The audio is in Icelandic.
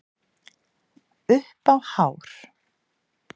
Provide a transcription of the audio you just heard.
Upp á hár